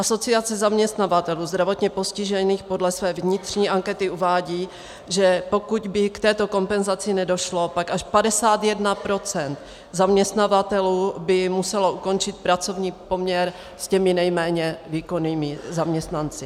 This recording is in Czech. Asociace zaměstnavatelů zdravotně postižených podle své vnitřní ankety uvádí, že pokud by k této kompenzaci nedošlo, pak až 51 % zaměstnavatelů by muselo ukončit pracovní poměr s těmi nejméně výkonnými zaměstnanci.